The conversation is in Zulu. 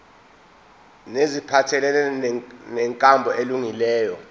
neziphathelene nenkambo elungileyo